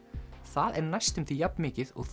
það er næstum jafn mikið og